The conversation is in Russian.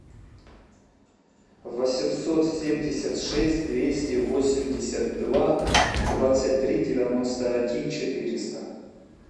восемьсот семьдесят шесть двести восемьдесят два двадцать три девяносто один четыреста